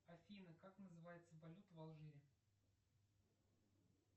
афина как называется валюта в алжире